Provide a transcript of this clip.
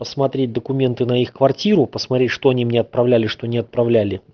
посмотреть документы на их квартиру посмотри что они мне отправляли что не отправляли